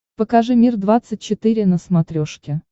покажи мир двадцать четыре на смотрешке